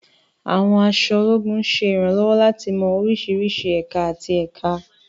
Àwọn aṣọ ológun ń ṣe ìrànlọ́wọ́ láti mọ oríṣiríṣi ẹ̀ka àti ẹ̀ka.